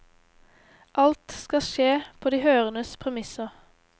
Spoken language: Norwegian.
Alt skal skje på de hørendes premisser.